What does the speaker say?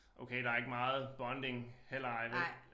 Okay der ikke meget bonding heller ej vel